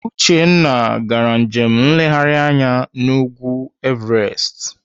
Uchenna gara njem nleghari anya n'ugwu Everest.